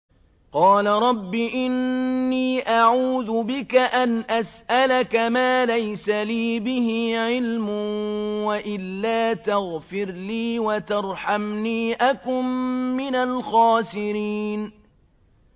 قَالَ رَبِّ إِنِّي أَعُوذُ بِكَ أَنْ أَسْأَلَكَ مَا لَيْسَ لِي بِهِ عِلْمٌ ۖ وَإِلَّا تَغْفِرْ لِي وَتَرْحَمْنِي أَكُن مِّنَ الْخَاسِرِينَ